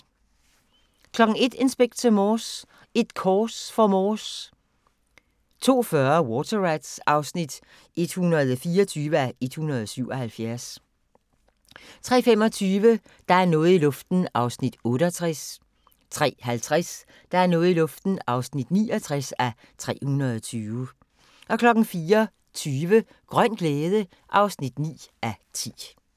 01:00: Inspector Morse: Et kors for Morse 02:40: Water Rats (124:177) 03:25: Der er noget i luften (68:320) 03:50: Der er noget i luften (69:320) 04:20: Grøn glæde (9:10)